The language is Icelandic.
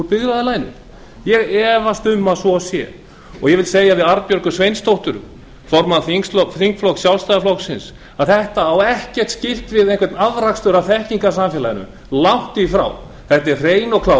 byggðarlaginu ég efast um að svo sé ég vil segja við arnbjörgu sveinsdóttir formann þingflokks sjálfstæðisflokksins þetta á ekkert skylt við einhvern afrakstur af þekkingarsamfélaginu langt í frá þetta er hrein og klár